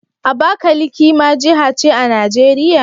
Abakaliki ma jiha ce a Najeriya?